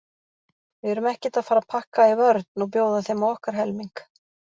Við erum ekkert að fara að pakka í vörn og bjóða þeim á okkar helming.